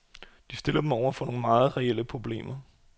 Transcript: Det stiller dem over for nogle meget reelle problemer.